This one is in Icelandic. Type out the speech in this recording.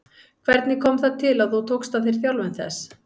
Hvernig kom það til að þú tókst að þér þjálfun þess?